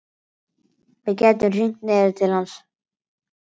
Við gætum hringt niður til hans.